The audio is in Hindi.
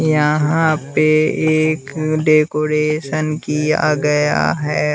यहाँ पे एक डेकोरेशन किया गया है।